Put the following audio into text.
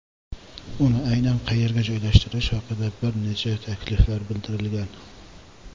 Uni aynan qayerga joylashtirish haqida bir nechta takliflar bildirilgan.